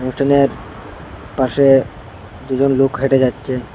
উঠোনের পাশে দুজন লোক হেঁটে যাচ্ছে।